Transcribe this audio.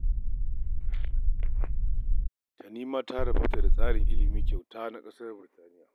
Tani ma ta rabauta da tsarin ilimi kyauta na ƙasar Birtaniya